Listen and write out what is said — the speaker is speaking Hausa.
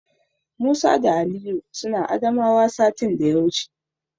Musa da Aliyu suna Adamawa satin daya wuce.